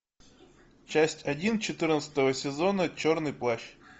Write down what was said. часть один четырнадцатого сезона черный плащ